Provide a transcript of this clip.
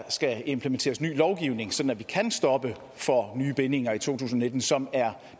skal implementeres ny lovgivning sådan at vi kan stoppe for nye bindinger i to tusind og nitten som er